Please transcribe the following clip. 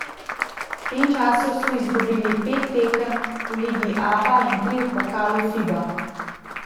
V tem času so izgubili pet tekem v ligi Aba in tri v pokalu Fiba.